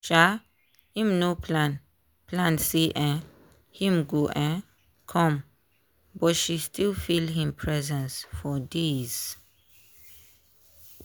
um im no plan plan say um him go um come but she still feel him presence for days.